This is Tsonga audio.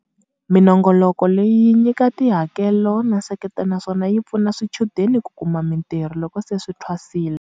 Minongoloko leyi yi nyika tihakelo na nseketelo naswona yi pfuna swichudeni ku kuma mitirho loko se swi thwasile.